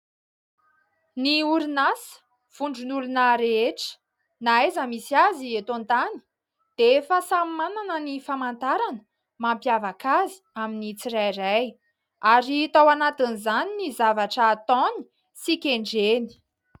Ny orinasa, vondron'olona rehetra na aiza misy azy eto an-tany dia efa samy manana ny famantarana mampiavaka azy amin'ny tsirairay ary hita ao anatin'izany ny zavatra ataony sy kendreny.